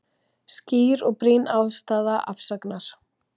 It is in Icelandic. Skýr og brýn ástæða afsagnar